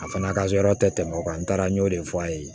A fana ka yɔrɔ tɛ tɛmɛ o kan n taara n y'o de fɔ a ye